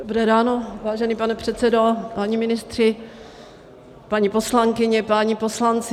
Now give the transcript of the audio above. Dobré ráno, vážený pane předsedo, páni ministři, paní poslankyně, páni poslanci.